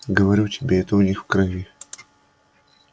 говорю тебе это у них в крови